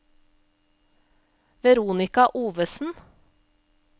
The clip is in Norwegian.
Veronica Ovesen